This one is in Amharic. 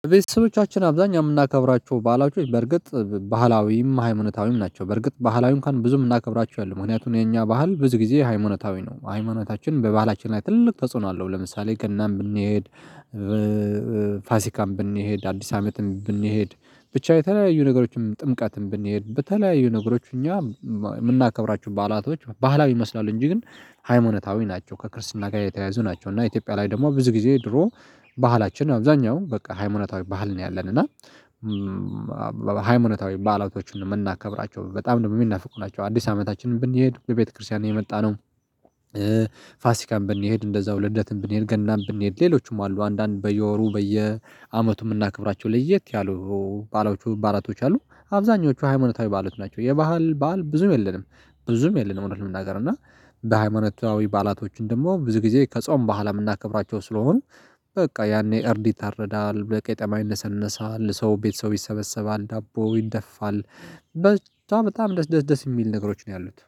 ቤተሰቦቻችን አብዛኛው የምናከብራቸው ባላቸው በርግጥ ባህላዊም ሀይማታዊም ናቸው። በርግጥ ባህላዊ አንኳን ብዙም እምናከብራቸው አይደሉም። ምክንያቱም የኛ ባህል ብዙ ጊዜ ሃይማኖታዊ ነው ሃይማኖታችን በባህላችን ላይ ትልቅ ተጽዕኖ አለው። ለምሳሌ ገናን ብንሄድ። ፋሲካም ብንሄድ አዲስ አመትም ብንሄድ ብቻ የተለያዩ ነገሮችን ጥምቀትም ብንሄድ በተለያዩ ነገሮች እኛ የምናከብራችሁ ባህላቶች ባህላዊ ይመስላሉ። እንጂ ግን ሃይማኖታዊ ናቸው ከክርስትና ጋር የተያያዙ ናቸው። እና ኢትዮጵያ ላይ ደግሞ ብዙ ጊዜ ድሮ ባህላችን አብዛኛው በቃ ሃይማኖታዊ ባህል ነው። ያለን እና ሃይማኖታዊ ባህላውቶችን የምናከብራቸው በጣም ደግሞ የሚናፍቁ ናቸው። አዲስ አመታችንን ብንሄድ በቤተክርስቲያን የመጣ ነው። ፋሲካመሰ ብንሄድ እንደዛው ልደትም ብንሄድ ገናም ብንሄድ ሌሎቹም አሉ። አንዳንድ በየወሩ በየአመቱ የምናከብራቸው ለየት ያሉ ባአላቶች አሉ። አብዛኞቹ ሃይማኖታዊ ባዓላት ናቸው የባህል ባዓል ብዙም የለንም። ብዙም የለንም። እውነት ለመናገረ ነገር እና በሃይማኖታዊ ባአላቶችም ደግሞ ብዙ ጊዜ ከጾም በኋላ የምናከብራቸው ስለሆኑ። በቃ ያኔ እርድ ይታረዳል በቄጠማ ይነሰነሳል ሰው ቤተሰብ ይሰበሰባል ዳቦ ይደፋል። በቻ ጣም በጣም ደስ ደስ ደስ የሚል ነገሮች ነው ያሉት